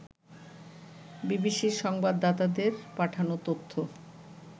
বিবিসির সংবাদদাতাদের পাঠানো তথ্য